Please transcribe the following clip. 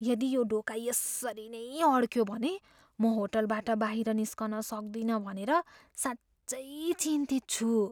यदि यो ढोका यसरी नै अड्कियो भने म होटलबाट बाहिर निस्कन सक्दिनँ भनेर साँच्चै चिन्तित छु।